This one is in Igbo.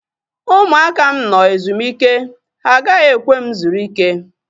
Ụmụaka m nọ ezumike. Ha agaghị ekwe m zuru ike